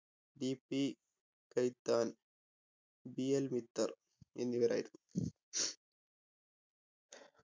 BP കൈത്താൻ BL വിത്തർ എന്നിവരായിരുന്നു